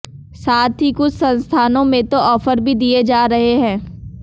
साथ ही कुछ संस्थानों में तो ऑफर भी दिए जा रहे हैं